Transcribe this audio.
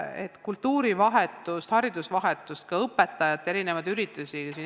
On kultuurivahetust, haridusvahetust, ka õpetajatele mõeldud üritusi.